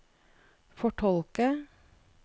fortolke